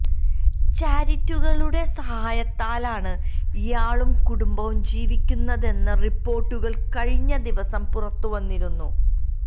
ചാരിറ്റികളുടെ സഹായത്താലാണ് ഇയാളും കുടുംബവും ജീവിക്കുന്നതെന്ന റിപ്പോർട്ടുകൾ കഴിഞ്ഞ ദിവസം പുറത്ത് വന്നിരുന്നു